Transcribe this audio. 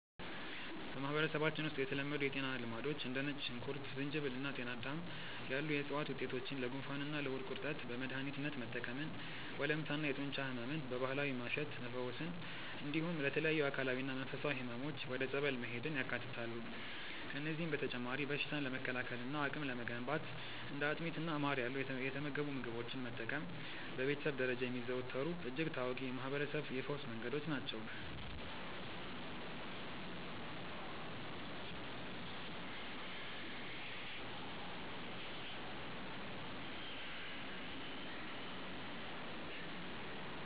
በማህበረሰባችን ውስጥ የተለመዱ የጤና ልማዶች እንደ ነጭ ሽንኩርት፣ ዝንጅብል እና ጤናዳም ያሉ የዕፅዋት ውጤቶችን ለጉንፋንና ለሆድ ቁርጠት በመድኃኒትነት መጠቀምን፣ ወለምታና የጡንቻ ሕመምን በባህላዊ ማሸት መፈወስን፣ እንዲሁም ለተለያዩ አካላዊና መንፈሳዊ ሕመሞች ወደ ጸበል መሄድን ያካትታሉ። ከእነዚህም በተጨማሪ በሽታን ለመከላከልና አቅም ለመገንባት እንደ አጥሚትና ማር ያሉ የተመገቡ ምግቦችን መጠቀም በቤተሰብ ደረጃ የሚዘወተሩ እጅግ ታዋቂ የማህርበረሰብ የፈውስ መንገዶች ናቸው።